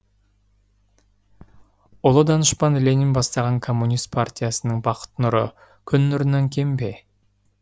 ұлы данышпан ленин бастаған коммунист партиясының бақыт нұры күн нұрынан кем бе